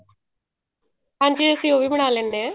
ਹਾਂਜੀ ਅਸੀਂ ਉਹ ਵੀ ਬਣਾ ਲੈਂਦੇ ਹਾਂ